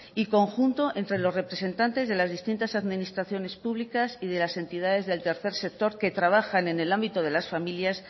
y conjunto entre los representantes de las distintas administraciones públicas y de las entidades del tercer sector que trabajan en el ámbito de las familias